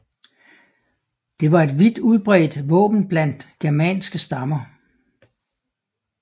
Det var et vidt udbredt våben blandt germanske stammer